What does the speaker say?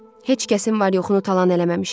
Heç kəsin var yoxunu talan eləməmişəm.